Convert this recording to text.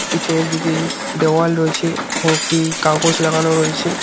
পিছনের দিকে দেওয়াল রয়েছে এখানে একটি কাগজ লাগানো রয়েছে।